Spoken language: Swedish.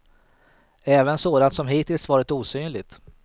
Även sådant som hittills varit osynligt.